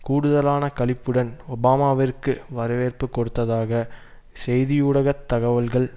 கூடுதலான களிப்புடன் ஒபாமாவிற்கு வரவேற்பு கொடுத்தாக செய்தியூடகத் தகவல்கள்